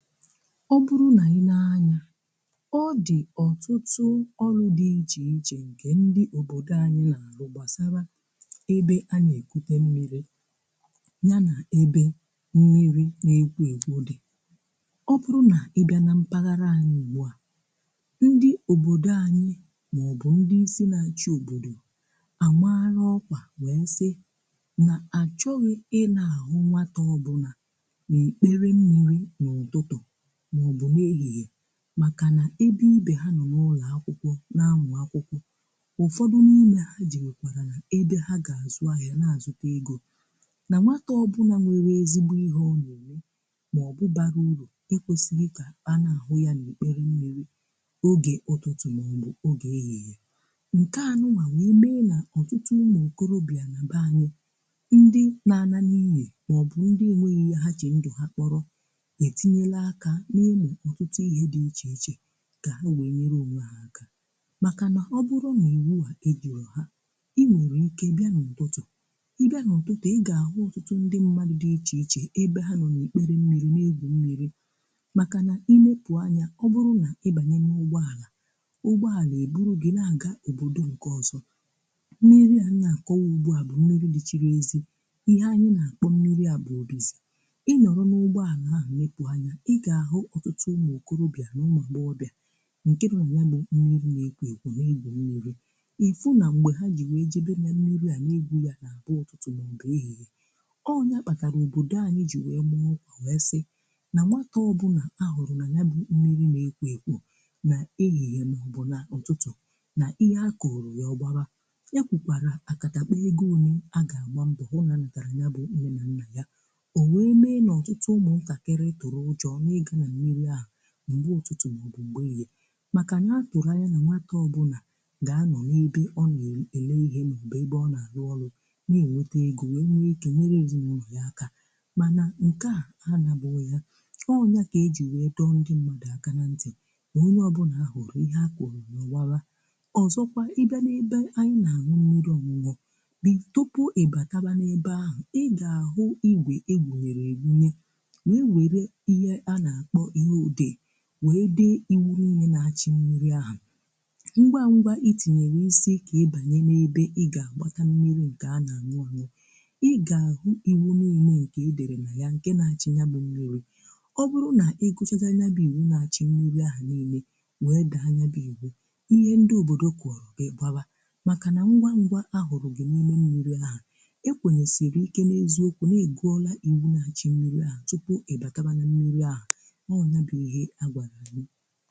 ọ bụrụ na i nee anya ọ dị̀ ọtụtụ ọrụ̀ dị iche iche nke ndị òbòdò anyị̀ na-àrụ gbasara ebe anyị̀ ekwute mmi̇ri̇ nya na ebe mmi̇ri̇ na-ekwo ekwȯ dị ọ bụrụ na ị bịa na mpaghara anyị̀ gbaa ndị òbòdò anyị̀ maọ̀bụ̀ ndị isi na-acha òbòdò à mara ọkwa wee nsị na-achọghị̀ ị na-ahụ̀ nwata ọbụlà makà na ebe ibe ha nọ n’ụlọ̀ akwụkwọ̀ na-amụ̀ akwụkwọ̀ ụfọdụ̀ niine ha ji na-ekwarà ebe ha ga-azụ ahịà na-azụkwà egȯ na nwakà ọbụnà nwere ezigbo ihe ọ na-onù maọ̀bụ̀ bara urù e kwosighì ka anahụ̀ yà n’okpere mmi̇ri̇ okè ụtụtụ maọ̀bụ̀ okè ehihie nkè anụwà nwère mee nà ọtụtụ ụmụ nkọrọbịà na banyè ndị na-anà niine maọ̀bụ̀ ndị enweghi ihe ha che ndụ ha kpọrọ̀ na-eme ọtụtụ ihe dị iche iche ga ha wee nyere omu ahà um maka nà ọ bụrụ̀ na iwu wà ejirò hà i nwere ike bịà n’ụtụtụ̀ ị bịà n’ụtụtụ̀ ị ga-ahụ̀ ụtụtụ ndị mmadụ̀ dị iche ichè ebe ha nọ na-ekpere mmi̇ri̇ na-egwù mmi̇ri̇ makà nà imepù anya ọ bụrụ̀ nà ịbanye n’ụgbọ àlà ụgbọ à na-eburu gị na-aga ẹbụdụ̀ nke ọzọ̀ mmi̇ri̇ à na-akọwà ugbọ à bụ̀ mmi̇ri̇ dị chịrị ezi ihe anyị nà-àkpọ mmi̇ri̇ à bụ̀ ọdịzị̀ ịnọrọ̀ n’ụgbọ à ahụ̀ mekpụ anya okorobịà n’ụmụ̀ agbọọbịà nke bụ̀ m̀ya bụ̀ mmi̇ri̇ na-ekwo ekwo na-egbum mmi̇ri̇ ịfụ na mgbe ha ji wee jebe na mmi̇ri̇ à na-egbum ya na abụọ̀tụ̀tụ̀ nà ọbụrọ̀ ihehe ọ nyakpatarà òbodò anyị̀ jì wee mụọ kwa wee sị̀ na nwata ọbụnà ahụrụ̀ na ya bụ̀ mmi̇ri̇ na-ekwo ekwo na ehihie na ọbụrụ̀ nà ọtụtụ̀ na ihe a kọrọ̀ ya ọbarà ya kwukwarà akatakpọ̀ egȯ unì a ga-aṅba ụnọ̀ ha na-anatara nya bụ̀ mhee na nna ya o wee mee n’ọtụtụ ụmụ̀ kakịrị na ọtụtụ ma ọ bụ gbelie maka na-akụrụ anya na nwata ọbụna ga-anọ n’ebe ọ na-ele ihe ma ọbe ebe ọ na-alụ ọlụ na-enweta ego wee nweike nyere zi n’ụlọ aka mana nke a anabu ya ọ onye a ka e ji wee dọ ndị mmadụ aka na ntị onye ọbụna a hụrụ ihe a ka ọrụ n’owala ọzọkwa ị bịa n’ebe anyị na-aṅụ mmi̇ri̇ ọṅụṅụ bì tupu ị bataba n’ebe ahụ ị ga-ahụ iwe egwu were i nye wee dee iweru inye na-achị mmi̇ri̇ ahụ̀ ngwa ngwa itinyere isi ike ibànye n’ebe ị ga-agbakọ mmi̇ri̇ nke a na-anụ ahụ̀ ị ga-ahụ iwu n’ine nke e dere na ya nke na-achị ya bụ mmi̇ri̇ ọ bụrụ na ị gụchagha ya bụ iwu na-achị mmi̇ri̇ ahụ̀ niile wee bụ anya bụ iwe ihe ndị obodo kụọrọ ị gbawa makà na ngwa ngwa ahụrụghị n’ime mmi̇ri̇ ahụ̀ ekwenyesiri ike n’eziokwu na-egùọla iwu na-achị mmi̇ri̇ ahụ̀ tupu e bakaba na mmi̇ri̇ ahụ̀ o n'ebighi agwaraghi